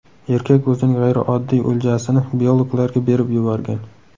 Erkak o‘zining g‘ayrioddiy o‘ljasini biologlarga berib yuborgan.